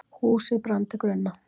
Húsið brann til grunna